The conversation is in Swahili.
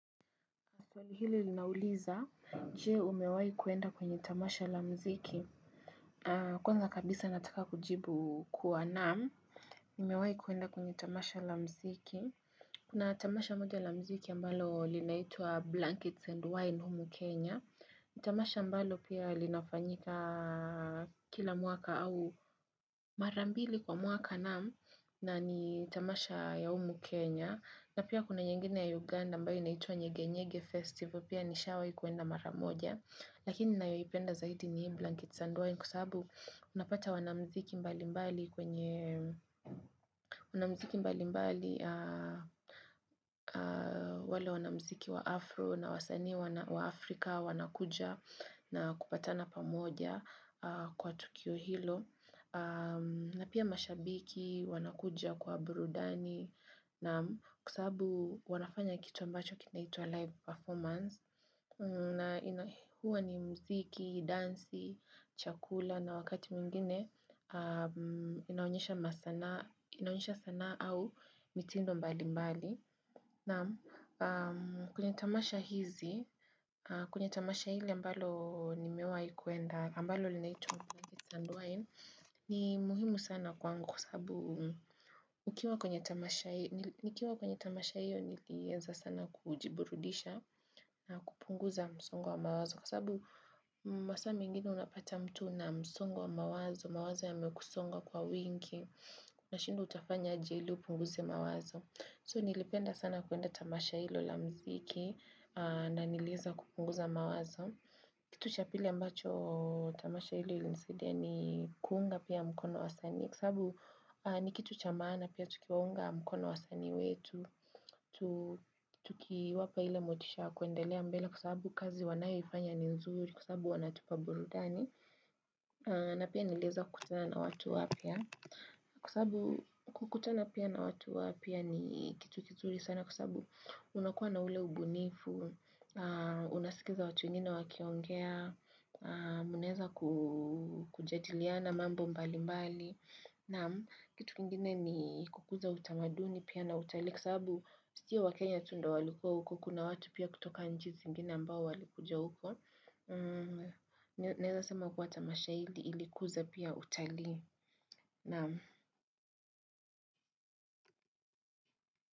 Soli hili linauliza, jie umewai kuenda kwenye tamasha lamziki. Kwanza kabisa nataka kujibu kuwa naamu. Umewai kuenda kwenye tamasha lamziki. Kuna tamasha moja lamziki ambalo linaitua Blankets and Wine Humu Kenya. Itamasha ambalo pia linafanyika kila muaka au marambili kwa muaka naamu na ni tamasha ya Humu Kenya. Na pia kuna nyengine ya Uganda mbao inaituwa nye Genyege Festival pia nishawai kuenda mara moja. Lakini na yoipenda zaidi ni Blankets and Wine kusabu unapata wanamziki mbalimbali kwenye wanamziki mbalimbali wale wanamziki wa Afro na wasani wa Afrika wanakuja na kupatana pamoja kwa Tukio Hilo. Na pia mashabiki, wanakuja kwa burudani na kusabu wanafanya kitu ambacho kinaitua live performance na huwa ni mziki, dansi, chakula na wakati mingine inaonyesha sana au mitindo mbali mbali na kunyatamasha hizi, kunyatamasha hili ambalo nimewa ikuenda ambalo linaitua blankets and wine ni muhimu sana kwangu kwa sabu ukiwa kwenye tamasha hiyo nilieza sana kujiburudisha na kupunguza msongo wa mawazo. Kwa sabu masami ingini unapata mtu na msongo wa mawazo, mawazo ya mekusonga kwa winki na shindu utafanya jeli upunguze mawazo. So nilipenda sana kuenda tamasha hilo lamziki na nilieza kupunguza mawazo. Kitu cha pili ambacho tamasha ili ili nisede ni kuunga pia mkono wa sani kusabu ni kitu cha maana pia tukiunga mkono wa sani wetu, tukiwapa ile motisha kuendelea mbele kusabu kazi wanayifanya ni nzuri kusabu wanatupa burudani. Na pia nileza kutana na watu wapia. Kusabu kutana pia na watu wapia ni kitu kizuri sana kusabu unakuwa na ule ubunifu, unasikiza watu ingine wakiongea, muneza kujadiliana mambo mbali mbali. Na kitu kingine ni kukuza utamaduni pia na utali Kisabu siya wakenya tundo walikuwa huko Kuna watu pia kutoka njiz ingine ambao walikuja huko naeza sama kuwa tamasha hili ilikuza pia utali na.